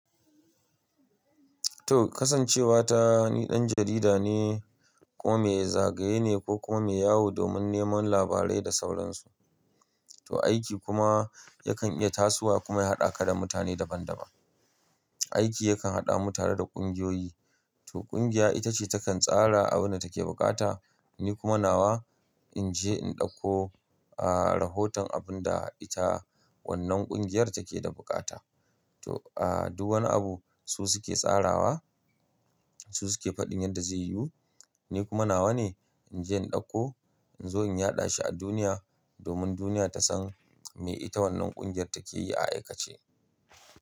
To kasancewa ta ni dan jarida ne kuma mai zagaye ne ko kuma yawu domin neman labarai da sauransu. To aiki kuma yakan iya tasowa kuma ya haɗa ka da mutane daban-daban. Aiki yakan haɗa mu tare da ƙungiyoyi. To ƙungiya ita ce takan tsara abin da take buƙata, ni kuma nawa in je in ɗauko, ah, rahoton abun da ita wannan ƙungiyar take da buƙata. To, ah, duk wani abu su suke tsarawa, su suke faɗin yadda zai yiwu. Ni kuma nawa ne in je in ɗauko in zo in yaɗa shi a duniya domin duniya ta san me ita wannan ƙungiyar take yi a aikace.